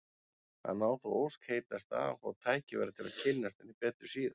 Hann á þá ósk heitasta að fá tækifæri til að kynnast henni betur síðar.